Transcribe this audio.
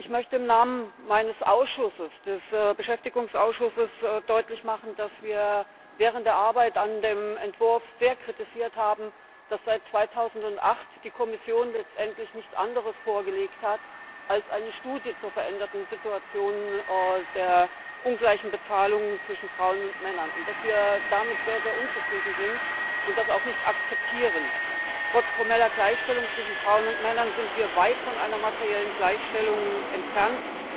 Ich möchte im Namen meines Ausschusses, des Ausschusses für Beschäftigung und soziale Angelegenheiten, deutlich machen, dass wir während der Arbeit an dem Entwurf sehr kritisiert haben, dass seit die Kommission 2008 letztendlich nichts anderes vorgelegt hat als eine Studie zur veränderten Situation der ungleichen Bezahlung zwischen Frauen und Männern, und dass wir damit sehr unzufrieden sind und das auch nicht akzeptieren. Trotz formeller Gleichstellung zwischen Frauen und Männern sind wir weit von einer materiellen Gleichstellung entfernt.